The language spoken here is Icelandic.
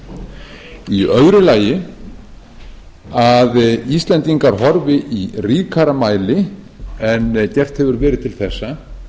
í öðru lagi að íslendingar horfi í ríkara mæli en gert hefur verið til þessa til